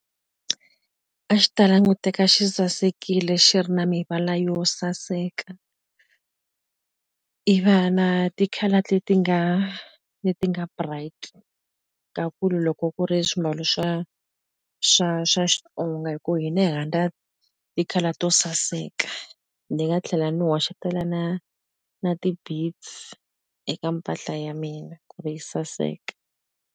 A xi ta languteka xi sasekile xi ri na mivala yo saseka ivi a na ti-colour leti nga leti nga bright ta ku loko ku ri swimbalo swa swa swa Xitsonga hi ku hina hi rhandza ti-oclour to saseka ni nga tlhela ni hoxetela na na eka mpahla ya mina kuve yi saseka.